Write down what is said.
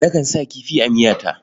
Nakan sa kifi a miyata.